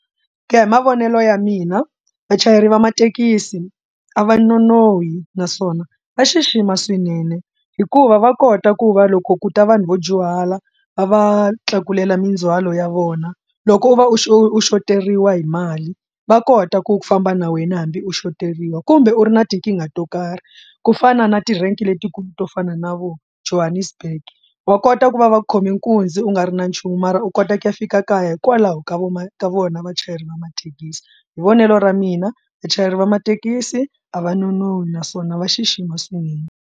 Ku ya hi mavonelo ya mina vachayeri va mathekisi a va nonohi naswona va xixima swinene hikuva va kota ku va loko ku ta vanhu vo dyuhala va va tlakulela mindzwalo ya vona loko u va u xoteriwa hi mali va kota ku famba na wena hambi u xoteriwa kumbe u ri na tinkingha to karhi ku fana na ti-rank letikulu to fana na vo johannesburg wa kota ku va va khome nkunzi u nga a ri na nchumu mara u kota ku ya fika kaya hikwalaho ka vo ma ka vona vachayeri va mathekisi hi vonelo ra mina vachayeri va mathekisi a va nonohi naswona va xixima swinene.